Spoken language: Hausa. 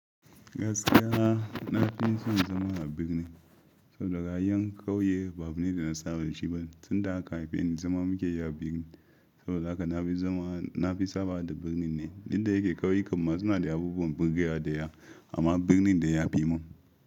Gaskiya na fi son zama a birni saboda kayan kauye babu ni da na saba da shi ba. Tun da aka haife ni zama muke yi a birni saboda haka na fi sabawa da birni ne. Inda yake ƙauyukan ma suna da abubuwan burge dayawa amma dai birnin dai ya fi mun.